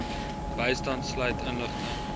bystand sluit inligting